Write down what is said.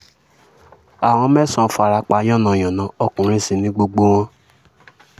àwọn mẹ́sàn-án fara pa yànnà-yànnà ọkùnrin sí ní gbogbo wọn